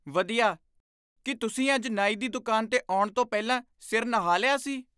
ਵਧੀਆ! ਕੀ ਤੁਸੀਂ ਅੱਜ ਨਾਈ ਦੀ ਦੁਕਾਨ 'ਤੇ ਆਉਣ ਤੋਂ ਪਹਿਲਾਂ ਸਿਰ ਨਹਾ ਲਿਆ ਸੀ?